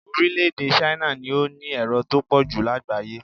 Orílẹ̀-èdè Chne ni ó ní èrò tó pọ̀ jù lágbàáyé